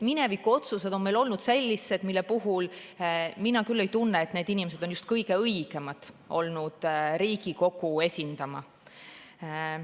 Minevikuotsused on olnud meil sellised, mille puhul mina küll ei tunne, et need inimesed on just kõige õigemad olnud Riigikogu esindama.